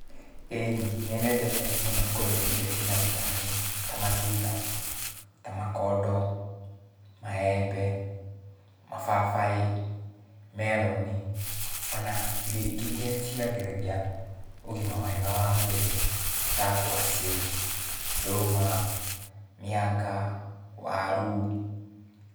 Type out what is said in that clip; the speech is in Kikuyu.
Ĩni, nĩnyendete mũno kũrĩa irio ciĩna bitameni, ta matunda, ta makondo, maembe, mababaĩ, meroni, ona irio ingĩ iria ciagĩragia ũgima mwega wa mwĩrĩ, ta ngwacĩ, ndũma, mĩanga, waru.